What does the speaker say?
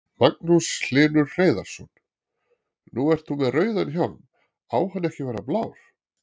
Magnús Hlynur Hreiðarsson: Nú ert þú með rauðan hjálm, á hann ekki að vera blár?